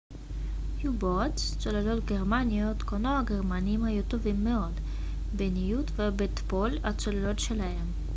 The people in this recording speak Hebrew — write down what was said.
צוללות גרמניות כונו u-boats הגרמנים היו טובים מאוד בניווט ובתפעול הצוללות שלהם